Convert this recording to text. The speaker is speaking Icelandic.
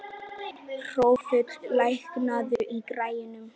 Hrólfur, lækkaðu í græjunum.